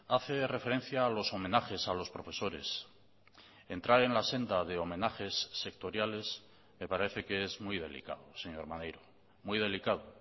hace referencia a los homenajes a los profesores entrar en la senda de homenajes sectoriales me parece que es muy delicado señor maneiro muy delicado